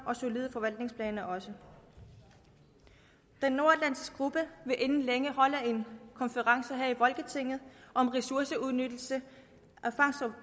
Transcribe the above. og solide forvaltningsplaner også den nordatlantiske gruppe vil inden længe holde en konference her i folketinget om ressourceudnyttelse